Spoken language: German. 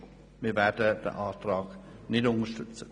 Wir werden den Antrag nicht unterstützen.